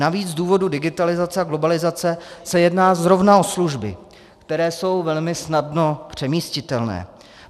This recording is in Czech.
Navíc z důvodu digitalizace a globalizace se jedná zrovna o služby, které jsou velmi snadno přemístitelné.